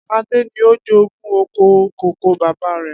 Adé ni ó jogún oko kòkó bàbá rè